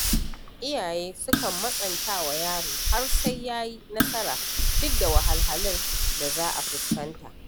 Iyaye sukan matsanta wa yaro har sai ya yi nasara duk da wahalhalun da za a fuskanta.